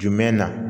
Jumɛn na